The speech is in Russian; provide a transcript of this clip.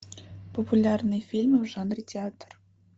популярные фильмы в жанре театр